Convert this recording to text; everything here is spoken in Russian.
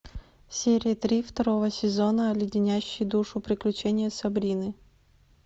серия три второго сезона леденящие душу приключения сабрины